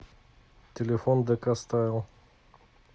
телефон дэкастайл